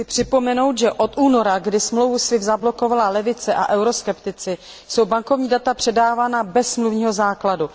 Chci připomenout, že od února, kdy dohodu SWIFT zablokovala levice a euroskeptici, jsou bankovní data předávána bez smluvního základu.